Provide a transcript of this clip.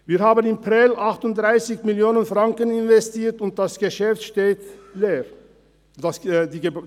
Wir haben in Prêles 38 Mio. Franken investiert, und das Gebäude steht leer.